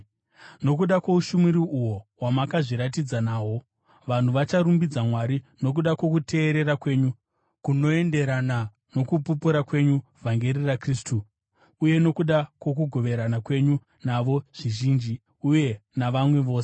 Nokuda kwoushumiri uhwo hwamakazviratidza nahwo, vanhu vacharumbidza Mwari nokuda kwokuteerera kwenyu kunoenderana nokupupura kwenyu vhangeri raKristu, uye nokuda kwokugoverana kwenyu navo zvizhinji uye navamwe vose.